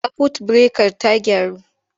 Sakwut birekar ta gyaru?